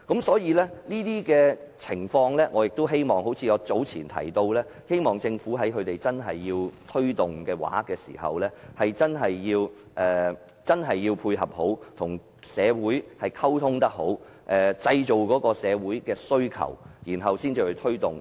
所以，正如我早前所說，我希望政府在社區推動這些項目時，必須好好配合並與社會人士溝通，製造社會人士的需求後再推動這些項目。